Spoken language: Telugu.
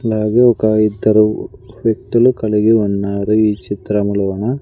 అలాగే ఒక ఇద్దరు వ్యక్తులు కలిగి ఉన్నారు ఈ చిత్రంలోన --